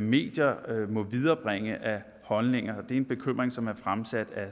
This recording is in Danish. medier må viderebringe af holdninger det er en bekymring som er fremsat af